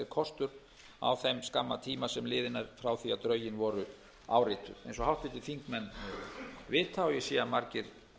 kostur á þeim skamma tíma sem liðinn er frá því drögin voru árituð eins og háttvirtir þingmenn vita og ég sé að margir